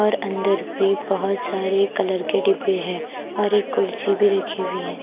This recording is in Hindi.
और अंदर भी बहुत सारे कलर के डिब्बे हैं और एक कुर्सी भी रखी हुई है ।